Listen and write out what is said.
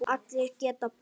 Allir geta breyst.